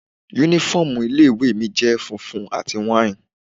Uniform ilé ìwé mi jẹ́ funfun àti wine.